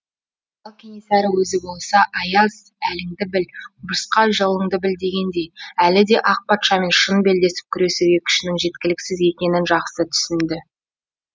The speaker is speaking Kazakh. ал кенесары өзі болса аяз әліңді біл құмырсқа жолыңды біл дегендей әлі де ақ патшамен шын белдесіп күресуге күшінің жеткіліксіз екенін жақсы түсінді